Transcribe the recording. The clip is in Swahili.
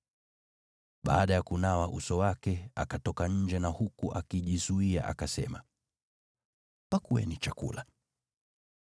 Baada ya kunawa uso wake, akatoka nje na huku akijizuia akasema, “Pakueni chakula.”